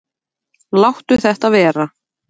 Láttu þetta vera!